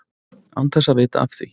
Án þess að vita af því.